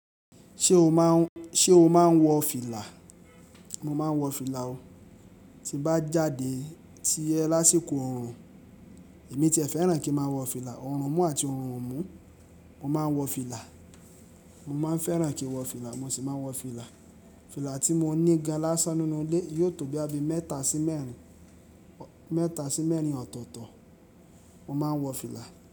Ṣé o máa ń, ṣe o máa ń wọ fìlà? Mo máa ń wọ fìlà o. Ti n bá jáde ti ẹ lásìkò ọ̀rùn, èmi ti ẹ fẹ́ràn kí n máa wọ fìlà. Ọ̀rùn mú àti ọ̀rùn ò mú, mo máa ń wọ fìlà. Mo máa ń fẹ́ràn kí n wọ fìlà, mo sì máa ń wọ fìlà. Fìlà tí mo ní gan lásán ninú ilé yóò tó boya bí i mẹ́ta sí mẹ́rin, mẹ́ta sí mẹ́rin ọ̀tọ̀ọ̀tọ̀. Mo máa ń wọ fìlà.